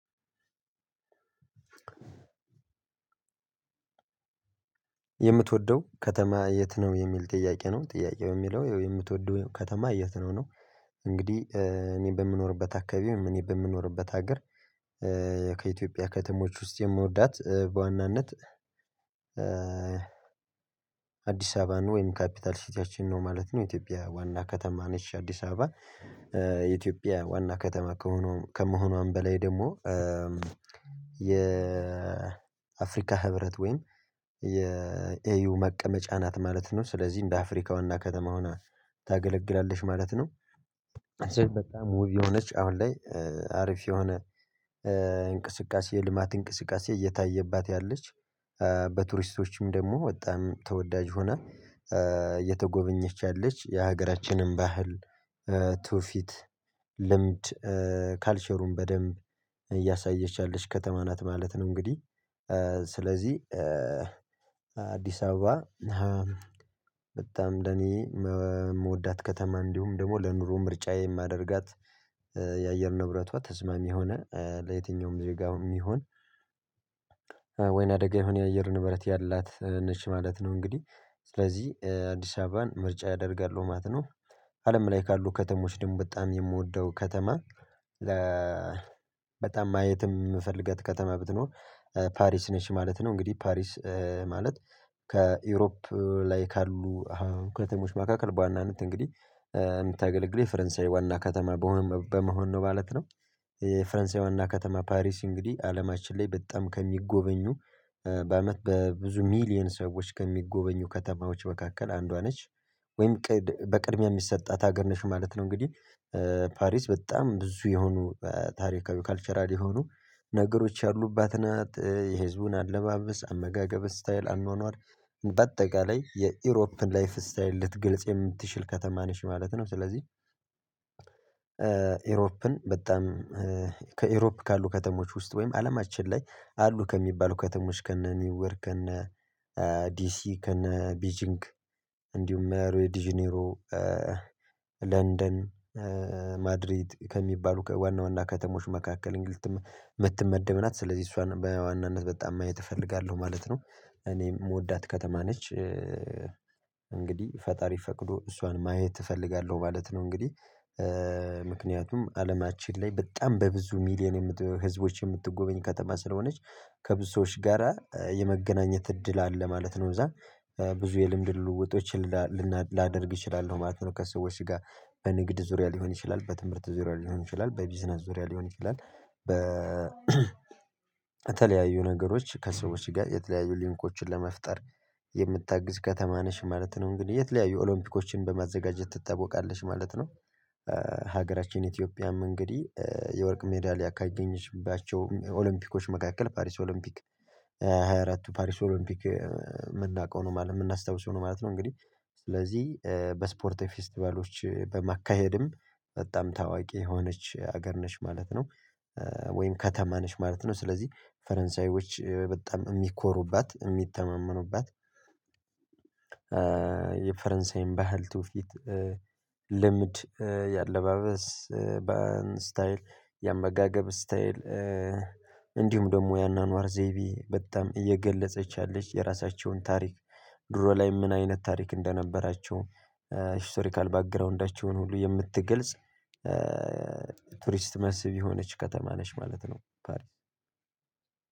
የምትወደው ከተማ የት ነው የሚል ጥያቄ ነው ጥያቄው የሚለው የምትወደው ከተማ የት ነው ነው? እንግዲህ እኔ በምኖርበት አካባቢውም እኔ በምኖርበት ሀገር። ከኢትዮጵያ ከተሞች ውስጥ የምወዳት በዋናነት። አዲስ አበባ ወይም ካፒታል ሲቲያችን ነው ማለት ነው ኢትዮጵያ ዋና ከተማ ነች አዲስ አበባ። የኢትዮጵያ ዋና ከተማ ከሆኑ ከመሆኗም በላይ ደግሞ የአፍሪካ ህብረት ወይም የኤዩ መቀመጫ ናት ማለት ነው። ስለዚህ እንደ አፍሪካውና ከተማ ሁና ታገለግላለሽ ማለት ነው። እጅግ በጣም የሆነች አሁን ላይ አሪፍ የሆነ እንቅስቃሴ ልማት እንቅስቃሴ እየታየባት ያለች በቱሪስቶችም ደግሞ በጣም ተወዳጅ ሆና እየተጎበኘች ያለች የሀገራችንም ባህል ትውፊት ልምድ ካልቸሩን በደንብ እያሳየች ያለች ከተማ ናት ማለት ነው። እንግዲህ ስለዚህ አዲስ አበባ። በጣም እንደኔ የምወዳት ከተማ እንዲሁም ደግሞ ለኑሮ ምርጫዬ የማደርጋት። የአየር ንብረቷ ተስማሚ ሆነ ለየትኛውም ዜጋውም ይሁን ወይና አደጋ የሆነ የአየር ንብረት ያላት ነች ማለት ነው። እንግዲህ ስለዚህ አዲስ አበባን ምርጫ ያደርጋሉ ማለት ነው። አለም ላይ ካሉ ከተሞች ደግሞ በጣም የምወደው ከተማ። በጣም ማየትም የምፈልገው ከተማ ብትኖር ፓሪስ ነች ማለት ነው። እንግዲህ ፓሪስ ማለት ከኢሮፕ ላይ ካሉ ከተሞች መካከል በዋናነት እንግዲህ እንደተገለግለው የፈረንሳይ ዋና ከተማ በመሆን ነው ማለት ነው። የፈረንሳይዋ ና ከተማ ፓሪስ እንግዲህ አለማችን ላይ በጣም ከሚጎበኙ በአመት በብዙ ሚሊየን ሰዎች ከሚጎበኙ ከተማዎች መካከል አንዷ ነች። ወይም በቅድሚያ የሚሰጣት ሀገር ነሽ ማለት ነው። እንግዲህ ፓሪስ በጣም ብዙ የሆኑ ታሪካዊ ካልቸራል የሆኑ ነገሮች ያሉት ናት የህዝቡን አለባበስ አመጋገብ ስታይል አኗኗር በአጠቃላይ የኢሮፕን ላይፍ ስታይል ልትግልጽ የምትችል ከተማ ነሽ ማለት ነው። ስለዚህ ኢሮፕን በጣም ከኤሮፕ ካሉ ከተሞች ውስጥ ወይም አለማችን ላይ አሉ ከሚባሉ ከተሞች ከነ ኒውዮርክ ከነ ዲሲ ከነ ቤጂንግ እንዲሁም የሮይ ዲጂኔሮ ለንደን ማድሪድ ከሚባሉ ከዋና ዋና ከተሞች መካከል። ምትመደብ ናት ስለዚህ እሷን በዋናነት በጣም ማየት እፈልጋለሁ ማለት ነው። እኔ የምወዳት ከተማ ነች። እንግዲህ ፈጣሪ ፈቅዶ እሷን ማየት እፈልጋለሁ ማለት ነው። እንግዲህ ምክንያቱም አለማችን ላይ በጣም በብዙ ሚሊየን ህዝቦች የምትጎበኝ ከተማ ስለሆነች ከብዙ ሰዎች ጋራ የመገናኘት እድል አለ ማለት ነው። እዛ ብዙ የልምድ ልውውጦችን ላደርግ እችላለሁ ማለት ነው። ከሰዎች ጋር በንግድ ዙሪያ ሊሆን ይችላል በትምህርት ዙሪያ ሊሆን ይችላል በቢዝነስ ዙሪያ ሊሆን ይችላል በተለያዩ ነገሮች ከሰዎች ጋር የተለያዩ ሊንኮችን ለመፍጠር የምታግዝ ከተማ ነሽ ማለት ነው። እንግዲህ የተለያዩ ኦሎምፒኮችን በማዘጋጀት ትታወቃለሽ ማለት ነው። ሀገራችን ኢትዮጵያም እንግዲህ የወርቅ ሜዳሊያ ካገኘችባቸው ኦሎምፒኮች መካከል ፓሪስ ኦሎምፒክ ሃያ ሃያ አራት ፓሪስ ኦሎምፒክ የምናውቀው ነው ማለት የምናስታውሰው ነው ማለት ነው። እንግዲህ ስለዚህ በስፖርት ፌስትቫሎች በማካሄድም በጣም ታዋቂ የሆነች ሀገር ነሽ ማለት ነው። ወይም ከተማ ነሽ ማለት ነው። ስለዚህ ፈረንሳዮች በጣም የሚኮሩባት የሚተማመኑባት የፈረንሳይም ባህል ትውፊት ልምድ የአለባበስ በስታይል የአመጋገብ ስታይል እንዲሁም ደግሞ የአኗኗር ዘይቢ በጣም እየገለጸች ያለች የራሳቸውን ታሪክ ድሮ ላይ ምን አይነት ታሪክ እንደነበራቸው ሂስቶሪካል ባክግራውንዳቸውን ሁሉ የምትገልጽ ቱሪስት መስብ የሆነች ከተማ ነሽ ማለት ነው። ፓሪስ